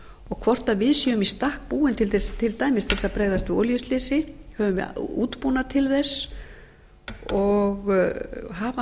og hvort við séum í stakk búin til þess til dæmis að bregðast við olíuslysi höfum við útbúnað til þess og hafa